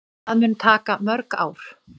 Það mun taka mörg ár.